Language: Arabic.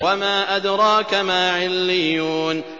وَمَا أَدْرَاكَ مَا عِلِّيُّونَ